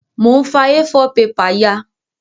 Mo n fa A4 paper ya